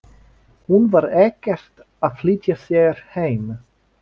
Hún var ekkert að flýta sér heim.